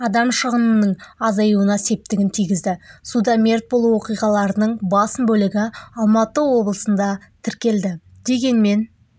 адам шығынының азаюына септігін тигізді суда мерт болу оқиғаларының басым бөлігі алматы облысында тіркелді дегенмен